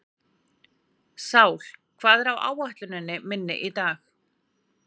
Sál, hvað er á áætluninni minni í dag?